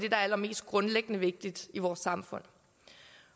er allermest grundlæggende vigtigt i vores samfund